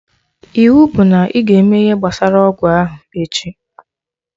Iwu bụ na ịga eme ihe gbasara ọgwụ ahụ echi